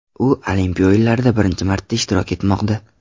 U Olimpiya o‘yinlarida birinchi marta ishtirok etmoqda.